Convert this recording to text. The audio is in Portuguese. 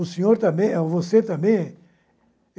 O senhor também, você também.